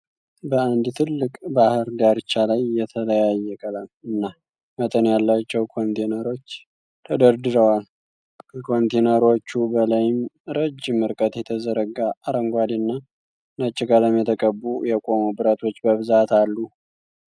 በአንድ ትልቅ ባህር ዳርቻ ላይ የተለያየ ቀለም እና መጠን ያላቸው ኮንቴነሮች ተደርድረዋል። ከኮንቴነሮቹ በላይም ረጅም ርቀት የተዘረጋ አረንጓዴ እና ነጭ ቀለም የተቀቡ የቆሙ ብረቶች በብዛት አሉ።